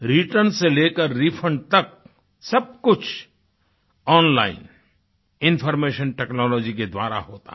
return से लेकर refund तक सब कुछ ओनलाइन इन्फॉर्मेशन टेक्नोलॉजी के द्वारा होता है